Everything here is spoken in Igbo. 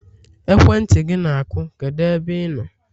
ekwentị gị na-akụ, kedu ebe ị nọ?